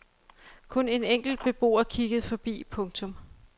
Kun en enkelt beboer kiggede forbi. punktum